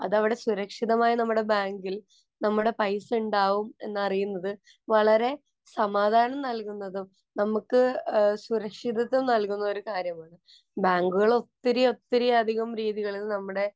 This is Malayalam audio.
അതവിടെ സുരക്ഷിതമായി നമ്മുടെ ബാങ്കില്‍ നമ്മുടെ പൈസ ഇണ്ടാവും എന്നറിയുന്നത് വളരെ സമാധാനം നല്‍കുന്നതും, നമുക്ക് സുരക്ഷിതത്വം നല്കുന്ന ഒരു കാര്യമാണ്. ബാങ്കുകളും ഒത്തിരി ഒത്തിരി അധികം രീതികളില്‍ നമ്മുടെ